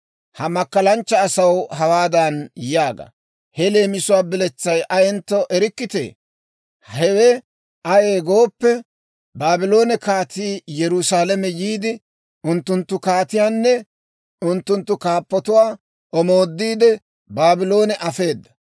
«Ha makkalanchcha asaw hawaadan yaaga; ‹He leemisuwaa biletsay ayentto erikkitee? Hewe ayee gooppe, Baabloone kaatii Yerusaalame yiide, unttunttu kaatiyaanne unttunttu kaappotuwaa omoodiide, Baabloone afeeda.